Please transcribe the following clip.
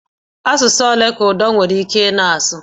Asụsụ ole ka Udo nwere ike ịsụ na-asụ?